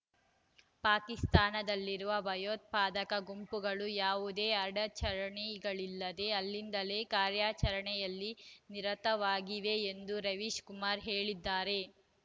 ಪಾಕಿಸ್ತಾನದಲ್ಲಿರುವ ಭಯೋತ್ಪಾದಕ ಗುಂಪುಗಳು ಯಾವುದೇ ಅಡಚಣೆಗಳಿಲ್ಲದೆ ಅಲ್ಲಿಂದಲೇ ಕಾರ್ಯಾಚರಣೆಯಲ್ಲಿ ನಿರತವಾಗಿವೆ ಎಂದೂ ರವೀಶ್ ಕುಮಾರ್ ಹೇಳಿದ್ದಾರೆ